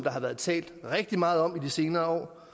har været talt rigtig meget om i de senere